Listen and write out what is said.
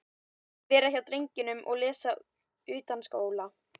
Vera hjá drengnum og lesa utanskóla.